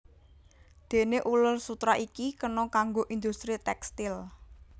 Déné uler sutera iki kena kanggo industri tékstil